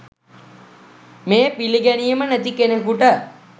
මේ පිළිගැනීම නැති කෙනෙකුට